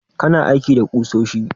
Kana aiki da ƙusoshi?